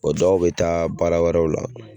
O dɔw bɛ taa baara wɛrɛw la.